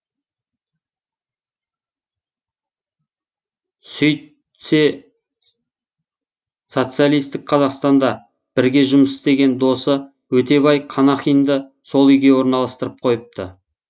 сөйтсе социалистік қазақстанда бірге жұмыс істеген досы өтебай қанахинді сол үйге орналастырып қойыпты